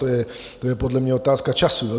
To je podle mě otázka času.